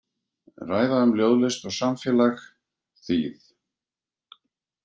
Ræða um ljóðlist og samfélag, þýð.